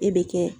E be kɛ